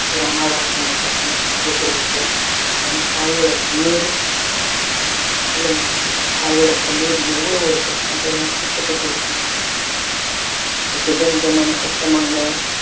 ஒரு அனாதை ஆசிரமத்துல போய் போட்டுடறதோ அப்போ அந்த தாயோட கண்ணீரு சொல்லுங்க தாயோட கண்ணீரு எவ்வளோ ஒரு கஷ்டம் சொல்லுங்க கஷ்டத்தை கொடுக்கும் கொஞ்ச நெஞ்சமான கஷ்டமாங்க